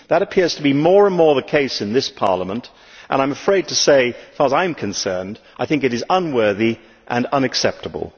That appears to be more and more the case in this Parliament and I am afraid to say, as far as I am concerned, I think it is unworthy and unacceptable.